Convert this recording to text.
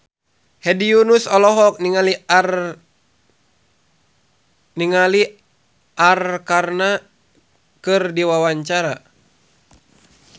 Hedi Yunus olohok ningali Arkarna keur diwawancara